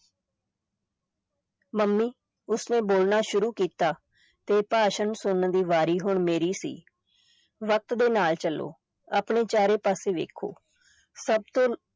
mummy, ਉਸ ਨੇ ਬੋਲਣਾ ਸ਼ੁਰੂ ਕੀਤਾ ਤੇ ਭਾਸ਼ਣ ਸੁਣਨ ਦੀ ਵਾਰੀ ਹੁਣ ਮੇਰੀ ਸੀ, ਵਕਤ ਦੇ ਨਾਲ ਚੱਲੋ, ਆਪਣੇ ਚਾਰੇ ਪਾਸੇ ਵੇਖੋ, ਸਭ ਤੋਂ